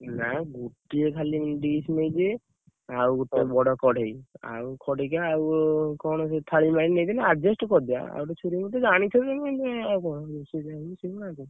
ନା, ଗୋଟିଏ ଖାଲି ଡିଶ ନେଇଯିବେ, ଆଉ ଗୋଟିଏ ବଡ କଡେଇ, ଆଉ ଖଡିକା, ଆଉ କଣ ସେ ଥାଳୀ ମାଳି ନେଇଯିବେ, adjust କରିଦିଅ ।